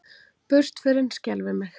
Burtförin skelfir mig ekki.